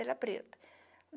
Era preto.